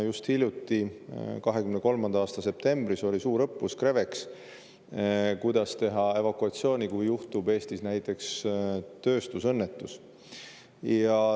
Just hiljuti, 2023. aasta septembris, oli suurõppus CREVEX, kuidas korraldada evakuatsiooni, kui Eestis juhtub näiteks tööstusõnnetus.